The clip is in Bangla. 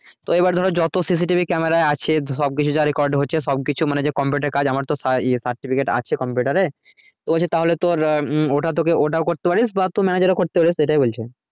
তো এবার ধরো যত CCTV camera হচ্ছে সব কিছু যে মানে computer কাজ আমার তো certificate আছে computer এর তো বলছে তাহলে তোর ওটা তো ওটাও করতে পারিস বা manager ও করতে প্যারিস সেটাই বলছে